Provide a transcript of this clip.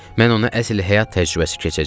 Mən ona əsl həyat təcrübəsi keçəcəm.